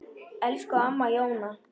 Elsku amma Jóna.